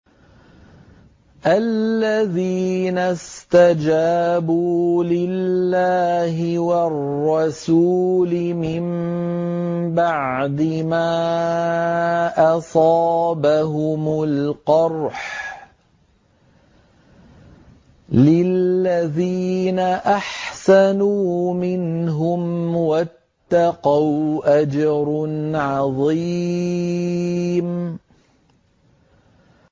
الَّذِينَ اسْتَجَابُوا لِلَّهِ وَالرَّسُولِ مِن بَعْدِ مَا أَصَابَهُمُ الْقَرْحُ ۚ لِلَّذِينَ أَحْسَنُوا مِنْهُمْ وَاتَّقَوْا أَجْرٌ عَظِيمٌ